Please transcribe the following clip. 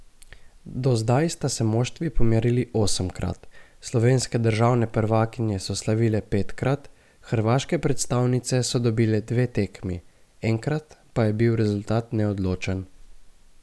Do zdaj sta se moštvi pomerili osemkrat, slovenske državne prvakinje so slavile petkrat, hrvaške predstavnice so dobile dve tekmi, enkrat pa je bil rezultat neodločen.